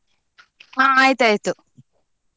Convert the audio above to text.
ಹಾ ಆಯ್ತಾಯ್ತು.